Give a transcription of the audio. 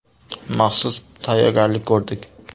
Maxsus tayyorgarlik ko‘rdik.